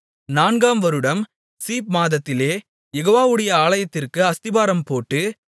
நான்காம் வருடம் சீப் மாதத்திலே யெகோவாவுடைய ஆலயத்திற்கு அஸ்திபாரம் போட்டு